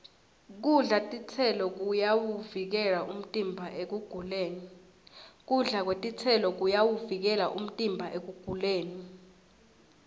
kudla titselo kuyawuvikela umtimba ekuguleni